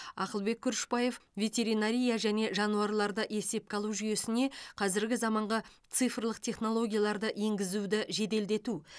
ақылбек күрішбаев ветеринария және жануарларды есепке алу жүйесіне қазіргі заманғы цифрлық технологияларды енгізуді жеделдету